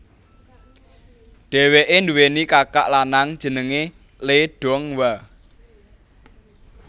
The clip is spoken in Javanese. Dhèwèké nduweni kakak lanang jenengé Lee Donghwa